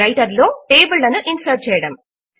writer లో table లను insert చేయడము